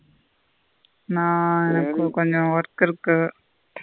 நா எனக்கு கொஞ்ச work இருக்கு.